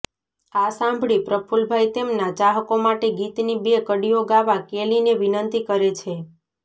આ સાંભળી પ્રફુલ્લભાઈ તેમના ચાહકો માટે ગીતની બે કડીઓ ગાવા કેલીને વિનંતી કરે છે